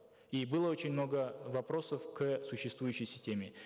и было очень много вопросов к существующей системе